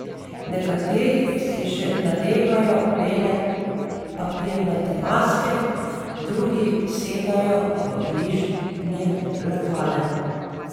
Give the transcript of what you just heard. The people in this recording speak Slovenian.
Nekateri si že nadevajo bele papirnate maske, drugi sedajo v bližnje lokale.